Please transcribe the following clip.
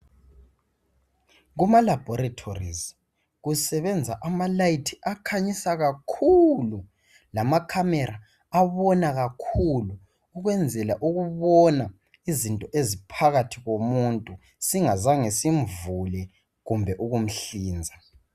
Kuma laboratories kusebenza amalayithi akhanyisa kakhulu lama camera abona kakhulu ukwenzela ukubona izinto eziphakathi komuntu singazange simvule kumbe ukumhlinza